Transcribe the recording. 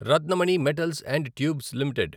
Ratnamani metals and tubes limited